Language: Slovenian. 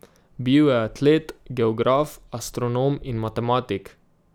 Bil je atlet, geograf, astronom in matematik.